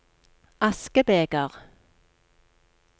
askebeger